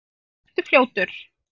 Og vertu fljótur.